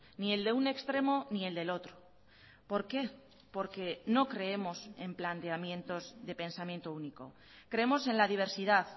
ni el de un extremo ni el del otro por qué porque no creemos en planteamientos de pensamiento único creemos en la diversidad